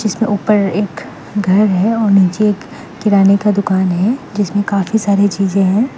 ऊपर एक घर है और नीचे एक किराने का दुकान है जिसमें काफी सारी चीजें हैं।